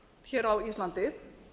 hér á íslandi